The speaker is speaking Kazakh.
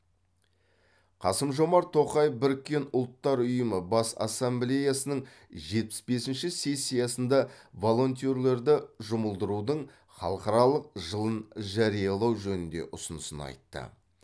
қасым жомарт тоқаев біріккен ұлттар ұйымы бас ассамблеясының жетпіс бесінші сессиясында волонтерлерді жұмылдырудың халықаралық жылын жариялау жөнінде ұсынысын айтты